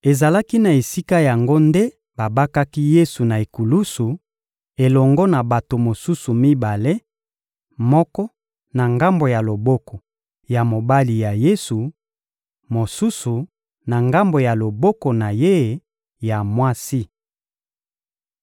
Ezalaki na esika yango nde babakaki Yesu na ekulusu, elongo na bato mosusu mibale: moko, na ngambo ya loboko ya mobali ya Yesu; mosusu, na ngambo ya loboko na Ye ya mwasi.